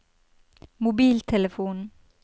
mobiltelefon